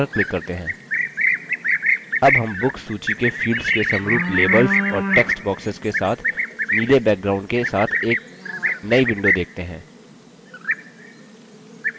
अब हम books सूची के fields के समरूप labels और text boxes के साथ नीले background के साथ एक now window देखते हैं